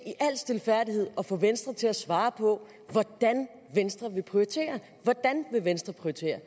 i al stilfærdighed at få venstre til at svare på hvordan venstre vil prioritere hvordan vil venstre prioritere